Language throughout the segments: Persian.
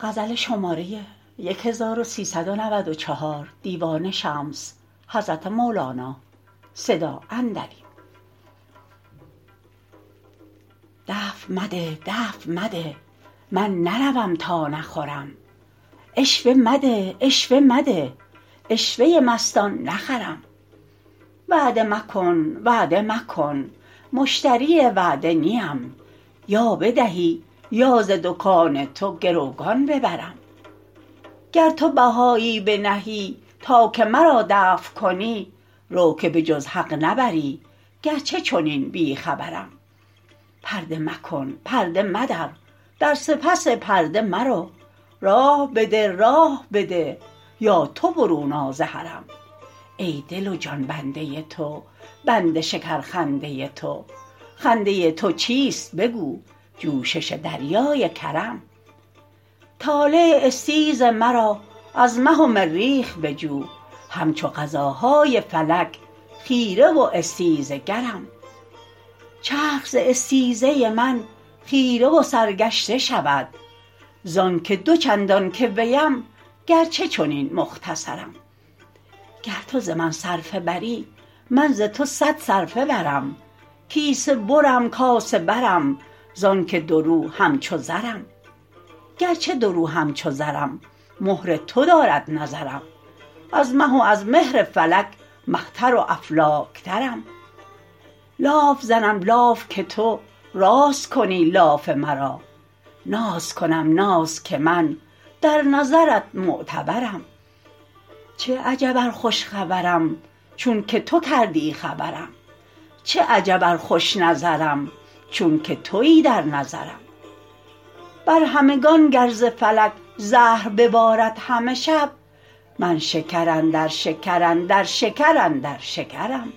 دفع مده دفع مده من نروم تا نخورم عشوه مده عشوه مده عشوه ی مستان نخرم وعده مکن وعده مکن مشتری وعده نی ام یا بدهی یا ز دکان تو گروگان ببرم گر تو بهایی بنهی تا که مرا دفع کنی رو که به جز حق نبری گرچه چنین بی خبرم پرده مکن پرده مدر در سپس پرده مرو راه بده راه بده یا تو برون آ ز حرم ای دل و جان بنده تو بند شکرخنده ی تو خنده ی تو چیست بگو جوشش دریای کرم طالع استیز مرا از مه و مریخ بجو همچو قضاهای فلک خیره و استیزه گرم چرخ ز استیزه من خیره و سرگشته شود زانک دو چندان که ویم گرچه چنین مختصرم گر تو ز من صرفه بری من ز تو صد صرفه برم کیسه برم کاسه برم زانک دورو همچو زرم گرچه دورو همچو زرم مهر تو دارد نظرم از مه و از مهر فلک مه تر و افلاک ترم لاف زنم لاف که تو راست کنی لاف مرا ناز کنم ناز که من در نظرت معتبرم چه عجب ار خوش خبرم چونک تو کردی خبرم چه عجب ار خوش نظرم چونک توی در نظرم بر همگان گر ز فلک زهر ببارد همه شب من شکر اندر شکر اندر شکر اندر شکرم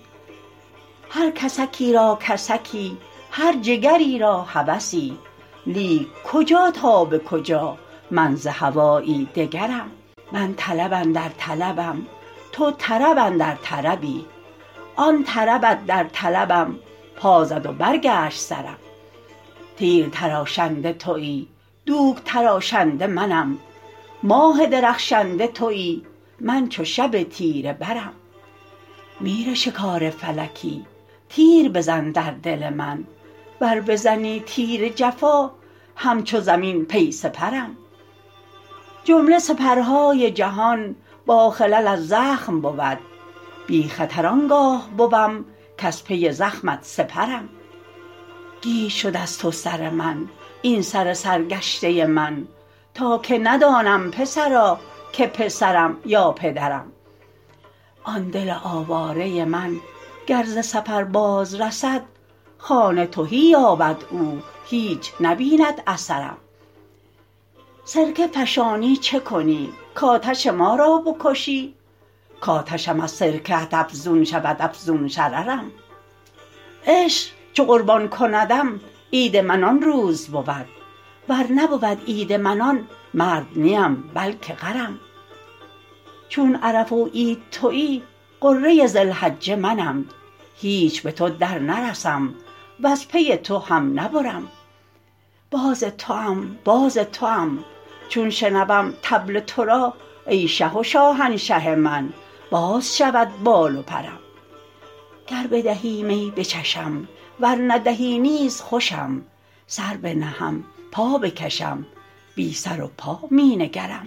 هر کسکی را کسکی هر جگری را هوسی لیک کجا تا به کجا من ز هوایی دگرم من طلب اندر طلبم تو طرب اندر طربی آن طربت در طلبم پا زد و برگشت سرم تیر تراشنده توی دوک تراشنده منم ماه درخشنده توی من چو شب تیره برم میرشکار فلکی تیر بزن در دل من ور بزنی تیر جفا همچو زمین پی سپرم جمله سپرهای جهان باخلل از زخم بود بی خطر آن گاه بوم کز پی زخمت سپرم گیج شد از تو سر من این سر سرگشته من تا که ندانم پسرا که پسرم یا پدرم آن دل آواره من گر ز سفر بازرسد خانه تهی یابد او هیچ نبیند اثرم سرکه فشانی چه کنی کآتش ما را بکشی کآتشم از سرکه ات افزون شود افزون شررم عشق چو قربان کندم عید من آن روز بود ور نبود عید من آن مرد نی ام بلک غرم چون عرفه و عید توی غره ذی الحجه منم هیچ به تو درنرسم وز پی تو هم نبرم باز توام باز توام چون شنوم طبل تو را ای شه و شاهنشه من باز شود بال و پرم گر بدهی می بچشم ور ندهی نیز خوشم سر بنهم پا بکشم بی سر و پا می نگرم